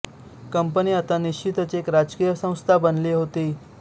company आता निश्चितच एक राजकीय संस्था बनली होती